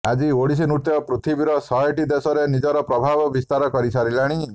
ଆଜି ଓଡ଼ିଶୀ ନୃତ୍ୟ ପୃଥିବୀର ଶହେଟି ଦେଶରେ ନିଜର ପ୍ରଭାବ ବିସ୍ତାରକରି ସାରିଲାଣି